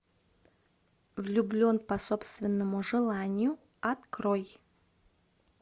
влюблен по собственному желанию открой